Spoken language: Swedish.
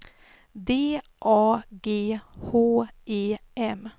D A G H E M